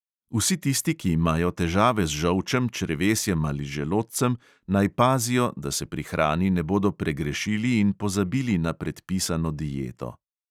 Vsi tisti, ki imajo težave z žolčem, črevesjem ali želodcem, naj pazijo, da se pri hrani ne bodo pregrešili in pozabili na predpisano dieto.